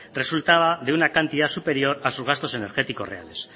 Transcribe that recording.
resultaba de una cantidad superior a sus gastos energéticos reales